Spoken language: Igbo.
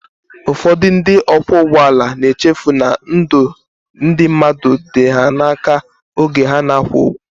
Ụfọdụ ndị ọkwọụgbọala na-echefu na ndụ ndị mmadụ dị ha n'aka oge ha na-akwọ ụgbọ